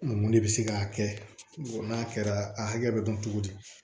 Mun de bɛ se k'a kɛ n'a kɛra a hakɛ bɛ dɔn cogo di